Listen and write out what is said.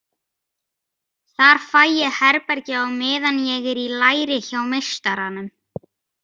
Þar fæ ég herbergi á meðan ég er í læri hjá meistaranum.